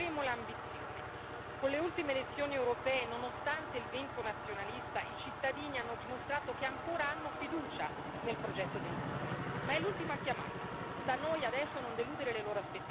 Non faremo sconti, anzi ne alzeremo l'ambizione. Con le ultime elezioni europee, nonostante il vento nazionalista, i cittadini hanno dimostrato che ancora hanno fiducia nel progetto dell'Unione, ma è l'ultima chiamata.